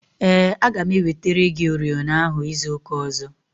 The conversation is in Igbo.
Ee, aga m ewetere gị oriọna ahụ izu ụka ọzọ.